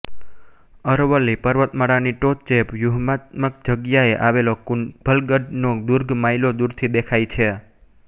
અરવલ્લી પર્વતમાળાની ટોચે વ્યુહાત્મક જગ્યાએ આવેલો કુંભલગઢ નો દુર્ગ માઇલો દૂરથી દેખાય છે